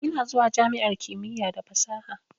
Ina zuwa jami'ar kimiyya da fasaha.